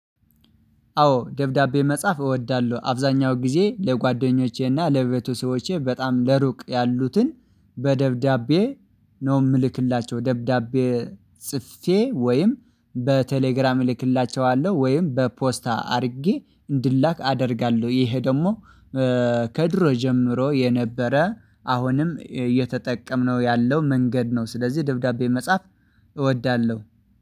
አዎ ደብዳቤ መጻፍ እወዳለሁ አብዛኛው ጊዜ ለጓደኞቼና ለቤተሰቦቼ በጣም ለሩቅ ያሉትን በደብዳቤ ነው የምልክላቸው ደብዳቤ ጽፌ ወይም በቴሌግራም እልክላቸዋለሁ ወይም በፖስታ አድርጌ እንዲላክ አደርጋለሁ። ይኼ ደግሞ ከዱሮ ጀምሮ የነበረ አሁንም እየተጠቀምነው ያለው መንገድ ነው ስለዚህ ደብዳቤ መጻፍ እወዳለሁ